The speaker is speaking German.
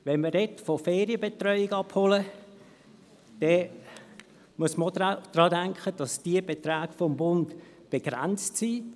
Wenn man davon spricht, Gelder für die Ferienbetreuung abzuholen, muss man auch bedenken, dass diese Beträge des Bundes begrenzt sind.